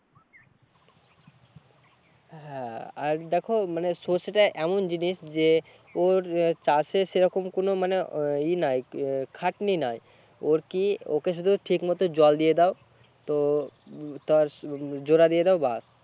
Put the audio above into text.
হ্যাঁ আর দেখো মানে সর্ষে টা এমন জিনিস যে ওর চাষের সেরকম কোনো মানে ই নাই খাটনি নাই ওর কি ওকে শুধু ঠিক মতো জল দিয়ে দেও তো তার জোড়া দিয়ে দেয় ব্যাস